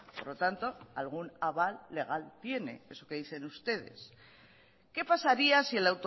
por lo tanto algún aval legal tiene eso que dicen ustedes que pasaría si el